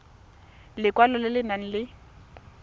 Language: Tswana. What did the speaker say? lekwalo le le nang le